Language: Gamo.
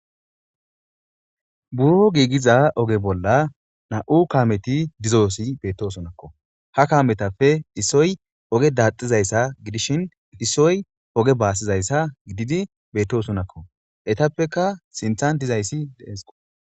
buro giigiza oge bolla na7u kameti dizoosi beettosonakko ha kametappe dhisoy oge daaxizayssa gidishin hisoy oge baassizayssa gididi beettosonakko etappeka sinthan dizayssi deesqo